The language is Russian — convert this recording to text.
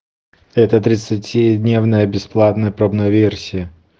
это тридцати дневная бесплатная пробная версия